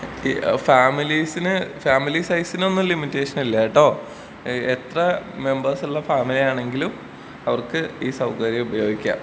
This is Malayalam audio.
അതേ ഈ ഫാമിലീസിന് ഫാമിലീസൈസിനൊന്നും ലിമിറ്റേഷൻ ഇല്ലാട്ടോ. ഏഹ് എത്ര മെമ്പർസ് ഉള്ള ഫാമിലി ആണെങ്കിലും അവർക്ക് ഈ സൗകര്യം ഉപയോഗിക്കാം.